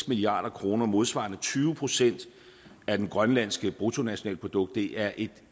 milliard kroner modsvarende tyve procent af det grønlandske bruttonationalprodukt det er et